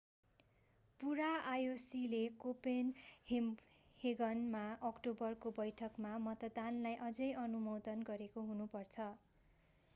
पूरा ioc ले कोपेनहेगनमा अक्टोबरको बैठकमा मतदानलाई अझै अनुमोदन गरेको हुनु पर्छ